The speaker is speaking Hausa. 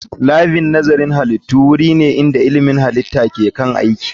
Labin nazarin halittu wuri ne inda ilmin halitta ke kan aiki